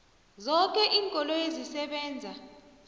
zoke iinkoloyi ezisebenza